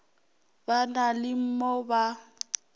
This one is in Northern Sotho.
ba na le mo ba